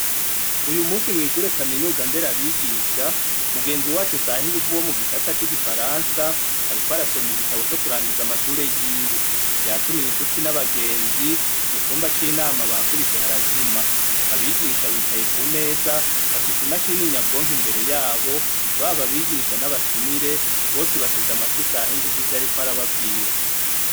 Uyu musi mw'ishure kaminuza ndera abigisha mugenzi wacu usaha inguvu wo mu gisata c'igifaransa ari ko arasoma igitabo co kurangiza amashure yiwe yatumiye incuti n'abagenzi mu cumba c'inama bakubise harazima abigisha bicaye ku meza bafise imashin'inyabwonke imbere yabo baba abigisha n'abatuma mire bose bateze amatwi isaha inguvu ivyo ari ko arababwira.